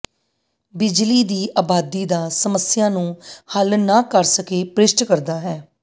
ਬਿਜਲੀ ਦੀ ਆਬਾਦੀ ਦਾ ਸਮੱਸਿਆ ਨੂੰ ਹੱਲ ਨਾ ਕਰ ਸਕੇ ਭ੍ਰਿਸ਼ਟ ਕਰਦਾ ਹੈ